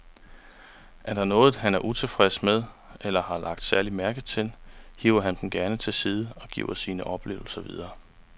Er der noget, han er utilfreds med eller har lagt særlig mærke til, hiver han dem gerne til side og giver sine oplevelser videre.